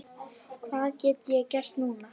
Hvað get ég gert núna?